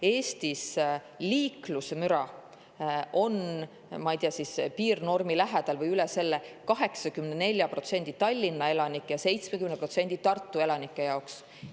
Eestis on liiklusmüra, ma ei tea, piirnormi lähedal või üle selle 84% Tallinna elanike ja 70% Tartu elanike jaoks.